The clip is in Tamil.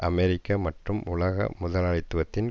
அமெரிக்க மற்றும் உலக முதலாளித்துவத்தின்